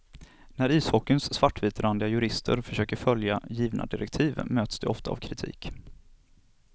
När ishockeyns svartvitrandiga jurister försöker följa givna direktiv möts de ofta av kritik.